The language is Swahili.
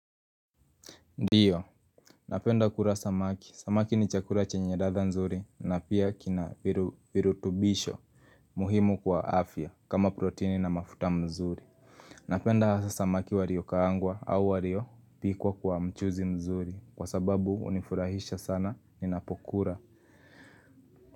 Ndiyo, napenda kula samaki, samaki ni chakula chenye ladha nzuri na pia kina virutubisho muhimu kwa afya kama protini na mafuta nzuri Napenda hasa samaki walio kaangwa au walio pikwa kwa mchuzi nzuri kwa sababu unifurahisha sana ni napokula.